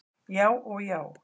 Já og já!